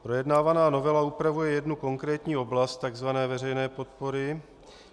Projednávaná novela upravuje jednu konkrétní oblast, takzvané veřejné podpory.